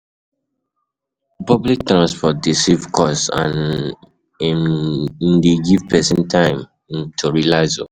Pubic transport de save cost and um e de give persin time um to relax